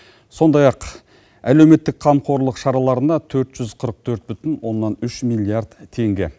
сондай ақ әлеуметтік қамқорлық шараларына төрт жүз қырық төрт бүтін оннан үш миллиард теңге